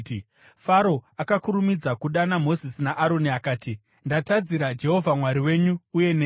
Faro akakurumidza kudana Mozisi naAroni akati, “Ndatadzira Jehovha Mwari wenyu uye nemi.